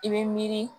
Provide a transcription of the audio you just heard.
I bɛ miiri